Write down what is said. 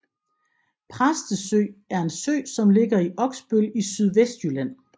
Præstesø er en sø som ligger i Oksbøl i Sydvestjylland